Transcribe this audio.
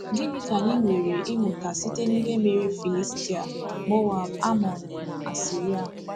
Gịnị ka anyị nwere ịmụta site n’ihe mere Filistia, Moab, Amọn, na Asiria?